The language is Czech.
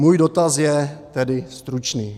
Můj dotaz je tedy stručný.